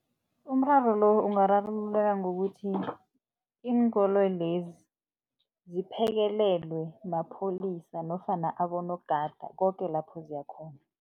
Umraro lo ungararululeka ngokuthi iinkoloyi lezi ziphekelelwe mapholisa nofana abonogada koke lapho ziyakhona.